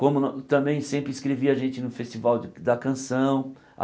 como no também sempre escrevia a gente no Festival de da Canção.